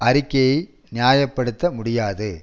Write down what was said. அறிக்கையை நியாய படுத்த முடியாது